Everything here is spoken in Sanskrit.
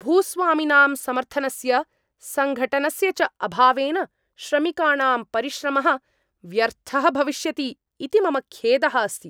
भूस्वामिनां समर्थनस्य, सङ्घटनस्य च अभावेन श्रमिकाणां परिश्रमः व्यर्थः भविष्यति इति मम खेदः अस्ति।